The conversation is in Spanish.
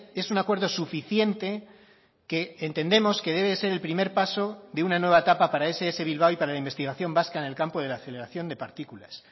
es un acuerdo suficiente que entendemos que debe ser el primer paso de una nueva etapa para ess bilbao y para la investigación vasca en el campo de la aceleración de partículas